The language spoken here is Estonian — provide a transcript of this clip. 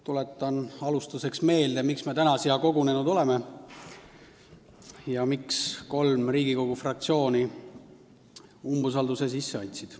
Tuletan alustuseks meelde, miks me täna siia kogunenud oleme ja miks kolm Riigikogu fraktsiooni umbusaldusavalduse sisse andsid.